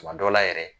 Tuma dɔ la yɛrɛ